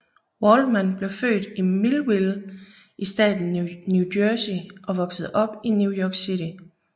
Waldman blev født i Millville i staten New Jersey og voksede op i New York City